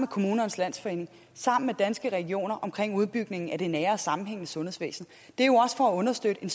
kommunernes landsforening og danske regioner om udbygningen af det nære sammenhængende sundhedsvæsen det er for at understøtte en